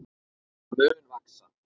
Hann mun vaxa.